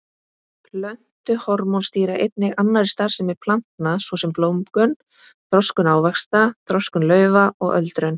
Plöntuhormón stýra einnig annarri starfsemi plantna svo sem blómgun, þroskun ávaxta, þroskun laufa og öldrun.